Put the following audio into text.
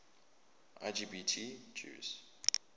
lgbt jews